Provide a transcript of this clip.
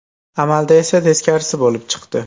Amalda esa teskarisi bo‘lib chiqdi.